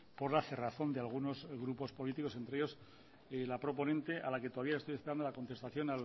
por la cerrazón de algunos grupos políticos entre ellos la proponente a la que todavía estoy esperando la contestación